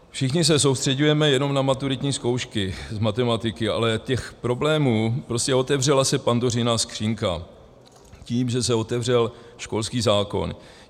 Všichni se soustřeďujeme jenom na maturitní zkoušky z matematiky, ale těch problémů, prostě otevřela se Pandořina skříňka tím, že se otevřel školský zákon.